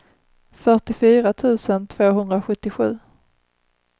fyrtiofyra tusen tvåhundrasjuttiosju